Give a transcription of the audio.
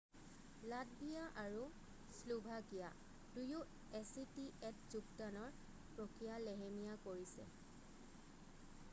Latvia আৰু Slovakia দুয়ো actaত যোগদানৰ প্ৰক্ৰিয়া লেহেমীয়া কৰিছে।